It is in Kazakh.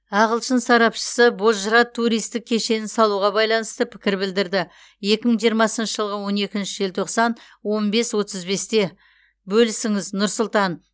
ағылшын сарапшысы бозжыра туристік кешенін салуға байланысты пікір білдірді екі мың жиырмасыншы жылғы он екінші желтоқсан он бес отыз бесте бөлісіңіз нұр сұлтан